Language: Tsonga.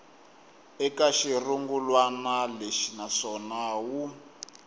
eka xirungulwana lexi naswona wu